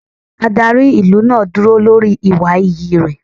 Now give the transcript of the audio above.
Adarí ìlú náà dúró lórí ìwà iyì rẹ̀.